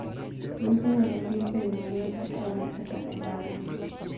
Gwen inyalo pidh eyo mayo e taonde kata e dala.